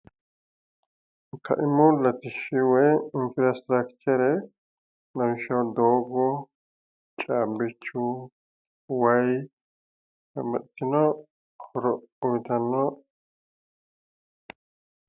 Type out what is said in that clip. Kaimu latishshi woyi infarstructure lawishshaho doogo caabbichu wati babbaxxitino horo uyitanno